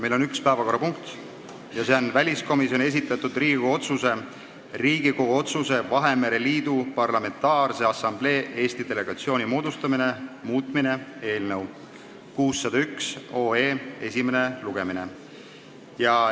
Meil on üks päevakorrapunkt ja see on väliskomisjoni esitatud Riigikogu otsuse "Riigikogu otsuse "Vahemere Liidu Parlamentaarse Assamblee Eesti delegatsiooni moodustamine" muutmine" eelnõu 601 esimene lugemine.